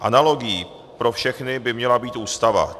Analogií pro všechny by měla být Ústava.